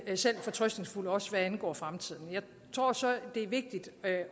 selv fortrøstningsfuld også hvad angår fremtiden jeg tror så det er vigtigt at